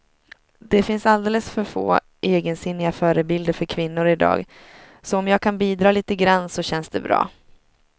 Det finns alldeles för få egensinniga förebilder för kvinnor i dag, så om jag kan bidra lite grann så känns det bra.